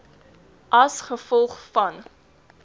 a g v